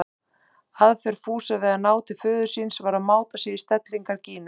Aðferð Fúsa við að ná til föður síns var að máta sig í stellingar Gínu.